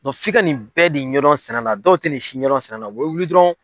fika nin bɛɛ de ɲɛ dɔn sɛnɛ la, dɔw tɛ nin si ɲɛdɔn sɛnɛ la, u bɛ wuli dɔrɔn.